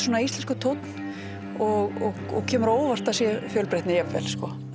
íslenskur tónn og og kemur á óvart að það sé fjölbreytni jafnvel en